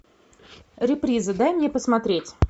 реприза дай мне посмотреть